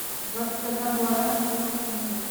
двадцать одна гуарани сколько в фунтах